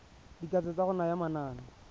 dikatso tsa go naya manane